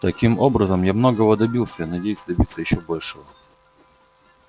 таким образом я многого добился надеюсь добиться ещё большего